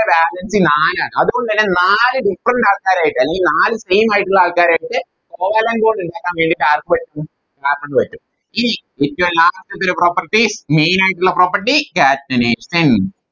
Valency നാലാണ് അത് കൊണ്ടെന്നെ നാല് Different ആൾക്കാരായിട്ട് അല്ലെങ്കി നാല് Same ആയിട്ടുള്ള ആൾക്കാരായിട്ട് Covalent bond ഇണ്ടാക്കാൻ വേണ്ടിറ്റ് ആർക്ക് പറ്റും Carbon ന് പറ്റും ഇനി ഏറ്റോം Last ൽ ത്തെ ഒരു Property main ആയിട്ടുള്ള Property catenation